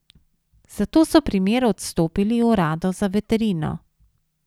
Zato so primer odstopili uradu za veterino.